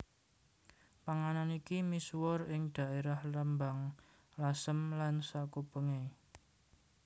Panganan iki misuwur ing dhaerah Rembang Lasem lan sakupenge